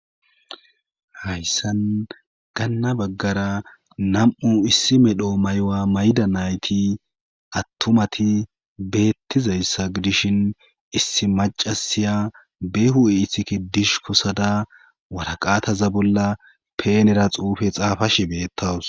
Hayssan ganna baggara nam7u issi medho maywa mayda nayti attomati beettizayssa gidishin issi macasiya beehu eithikke dish kosada waraqaataza bolla peenera xuufe xaafashi beettawus.